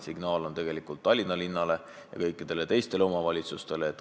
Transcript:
See on ka Tallinna linnale ja kõikidele teistele omavalitsustele.